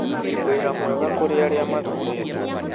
Wĩra mwega kũrĩ arĩa mathuurĩtwo. "